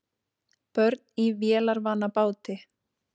Börn í vélarvana báti